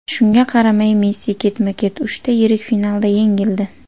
Shunga qaramay, Messi ketma-ket uchta yirik finalda yengildi.